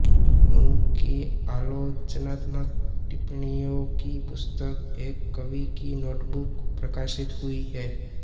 उनकी आलोचनात्मक टिप्पणियों की पुस्तक एक कवि की नोटबुक प्रकाशित हुई है